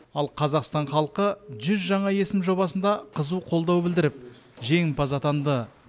ал қазақстан халқы жүз жаңа есім жобасында қызу қолдау білдіріп жеңімпаз атанды